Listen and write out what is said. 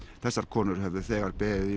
þessar konur höfðu þegar beðið í